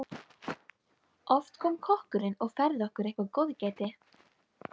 Oft kom kokkurinn og færði okkur eitthvert góðgæti.